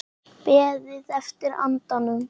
Beðið eftir andanum